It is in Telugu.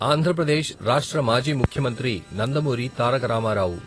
ఆంధ్ర ప్రదేశ్ రాష్ట్ర మాజీ ముఖ్యమంత్రి నందమూరి తారక రామారావు.